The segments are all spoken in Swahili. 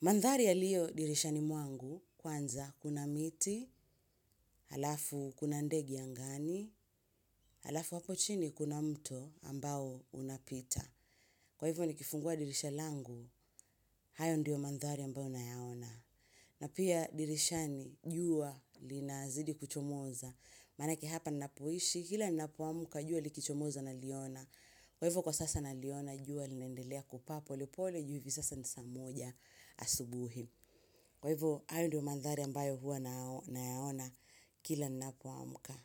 Mandhari ya liyo dirisha ni mwangu kwanza kuna miti, halafu kuna ndege angani, halafu hapo chini kuna mto ambao unapita. Kwa hivyo ni kifungua dirisha langu, hayo ndiyo mandhari ambao unayaona. Na pia dirisha ni jua lina zidi kuchomoza, manake hapa nnapoishi, kila nnapoamka jua likichomoza na liona. Kwa hivyo kwa sasa na liona jua linaendelea kupaapo, lepole juivi sasa nisamoja asubuhi. Kwa hivyo, ayo ndio mandhari ambayo huwa nao na yaona kila nnapoamka.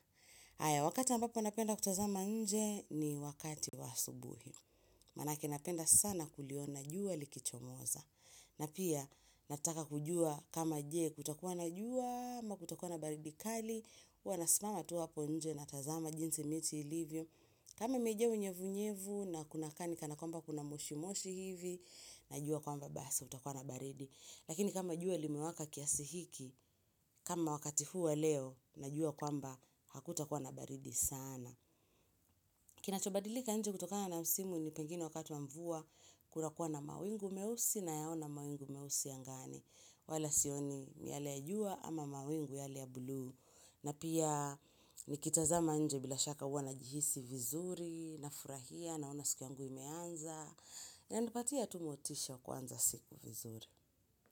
Aya, wakati ambapo napenda kutazama nje ni wakati wa subuhi. Manake napenda sana kuliona, jua likicho moza. Na pia, nataka kujua kama je, kutakuwa na jua, ama kutakuwa na baridi kali, huwa nasimama tu hapo nje na tazama jinsi miti ilivyo. Kama imejaa unyevu unyevu na kunakaani kanakwamba kuna moshi moshi hivi, na jua kwamba Bas utakuwa na baridi. Lakini kama jua limewaka kiasihiki, kama wakati huu wa leo najua kwamba hakuta kuwa nabaridi sana. Kina chobadilika nje kutokana na msimu ni pengine wakati wa mvua kuna kuwa na mawingu meusi na yaona mawingu meusi angani. Wala sioni miale ya jua ama mawingu yale ya bluu. Na pia nikitazama nje bila shaka hua na jihisi vizuri, na furahia naona siku yangu imeanza. Na nipatia tu motisha kuanza siku vizuri.